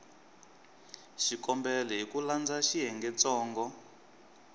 xikombelo hi ku landza xiyengentsongo